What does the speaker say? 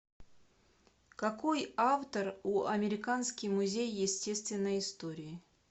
какой автор у американский музей естественной истории